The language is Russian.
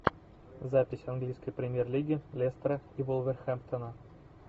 запись английской премьер лиги лестера и вулверхэмптона